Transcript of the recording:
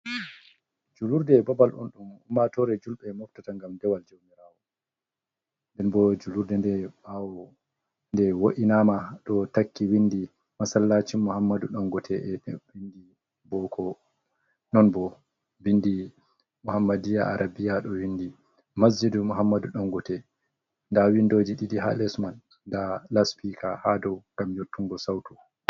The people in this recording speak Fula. Juulurde babal on ɗum ummaatoore julɓe moftata, ngam dewal jawmiraawo, nden bo juulurde nde ɓaawo nde wo’inaama, ɗo takki winndi masallaacin muhammadu dangote, be binndi booko, ɗon bo binndi muhammadiiya arabiya , ɗo winndi masjidu muhammadu dangote, nda windooji ɗiɗi haa les man, nda laspiika haa dow ngam yottungo sawto.